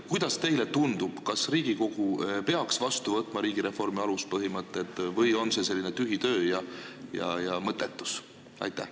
Kuidas teile tundub, kas Riigikogu peaks vastu võtma riigireformi aluspõhimõtted või on see selline tühi töö ja mõttetus?